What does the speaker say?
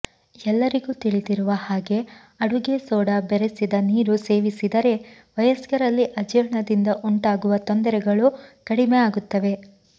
ಎಲ್ಲರಿಗೂ ತಿಳಿದಿರುವ ಹಾಗೆ ಅಡುಗೆ ಸೋಡಾ ಬೆರಸಿದ ನೀರು ಸೇವಿಸಿದರೆ ವಯಸ್ಕರಲ್ಲಿ ಅಜೀರ್ಣದಿಂದ ಉಂಟಾಗುವ ತೊಂದರೆಗಳು ಕಡಿಮೆ ಆಗುತ್ತವೆ